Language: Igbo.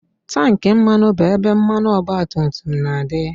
Tankị mmanụ bụ ebe mmanụ ọgbatumtum na-adị